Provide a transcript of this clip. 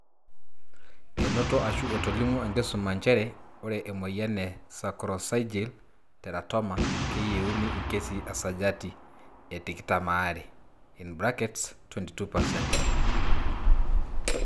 Enoto ashu etolimuo enkisuma nchere ore emoyian e sacroccygeal teratoma keyeuni ikesii esajati e tikitam are (22%)